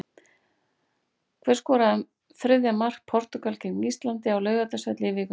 Hver skoraði þriðja mark Portúgal gegn Íslandi á Laugardalsvelli í vikunni?